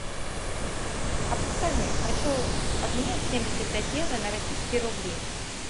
а подскажи хочу обменять семьдесят пять евро на российские рубли